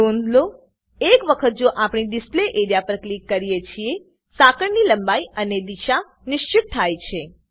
નોધ લો એક વખત જો આપણે ડીસ્લ્પે એરિયા પર ક્લિક કરીએ છીએ સાંકળની લંબાઈ અને દિશા નિશ્ચિત થાય છે